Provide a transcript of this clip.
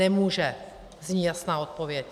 Nemůže, zní jasná odpověď.